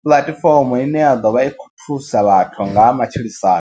puḽatifomo ine ya ḓovha i kho thusa vhathu nga ha matshilisano.